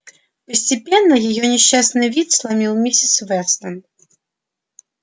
постепенно её несчастный вид сломил миссис вестон